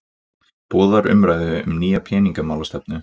Boðar umræðu um nýja peningamálastefnu